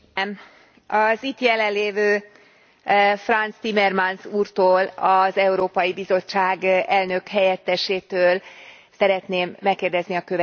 Az itt jelenlévő Frans Timmermans úrtól, az Európai Bizottság elnökhelyettesétől szeretném megkérdezni a következőt.